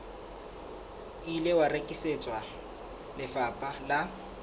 ile wa rekisetswa lefapha la